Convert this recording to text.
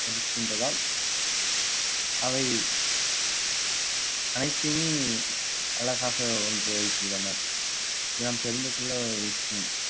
இருக்கின்றதால் அவை அனைத்துமே அழகாக ஒன்று வைத்துள்ளனர் நாம் தெரிந்து கொள்ளும் விஷயம்